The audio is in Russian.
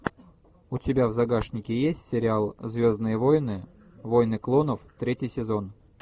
у тебя в загашнике есть сериал звездные войны войны клонов третий сезон